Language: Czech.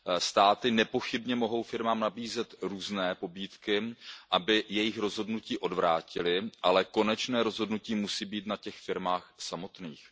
Státy nepochybně mohou firmám nabízet různé pobídky, aby jejich rozhodnutí odvrátily, ale konečné rozhodnutí musí být na těch firmách samotných.